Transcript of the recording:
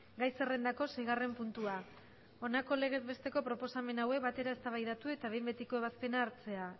gai zerrendako seigarren puntua honako legez besteko proposamen hauek batera eztabaidatu eta behin betiko ebazpena hartzea